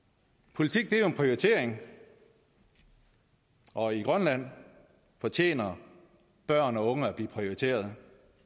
politik er jo en prioritering og i grønland fortjener børn og unge at blive prioriteret